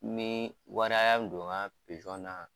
Min wari min don n ka na.